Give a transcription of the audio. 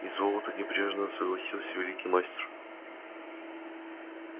и золото небрежно согласился великий мастер